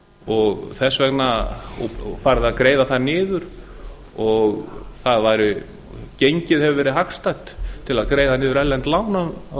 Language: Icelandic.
og þess vegna er farið að greiða það niður gengið hefur verið hagstætt til að greiða niður erlend lán á